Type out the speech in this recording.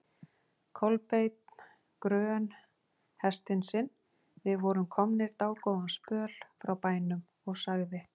Kolbeinn grön hestinn sinn, við vorum komnir dágóðan spöl frá bænum, og sagði